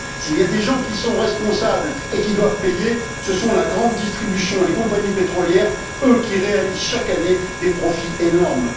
S'il y a des gens qui sont responsables et qui doivent payer, ce sont la grande distribution et les compagnies pétrolières, elles qui réalisent chaque année des profits énormes.